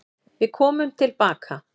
Við komum tilbaka.